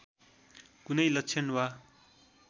कुनै लक्षण वा